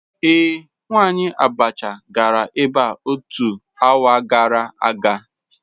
Ee, nwanyi abacha gara ebea otu hour gara aga.